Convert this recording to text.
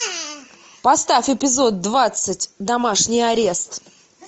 поставь эпизод двадцать домашний арест